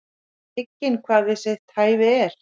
Veit hygginn hvað við sitt hæfi er.